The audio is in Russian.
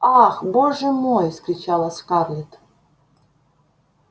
ах боже мой вскричала скарлетт